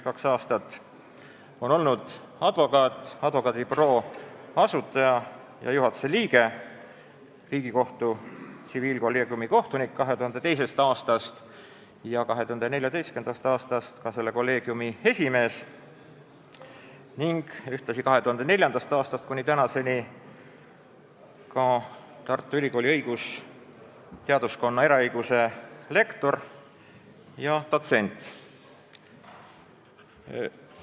Kõve on olnud advokaat, advokaadibüroo asutaja ja juhatuse liige, Riigikohtu tsiviilkolleegiumi kohtunik 2002. aastast ja 2014. aastast ka selle kolleegiumi esimees, ühtlasi 2004. aastast kuni tänaseni Tartu Ülikooli õigusteaduskonna eraõiguse lektor ja dotsent.